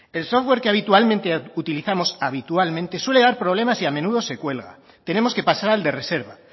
el software que habitualmente utilizamos suele dar problemas y a menudo se cuelga tenemos que pasar al de reserva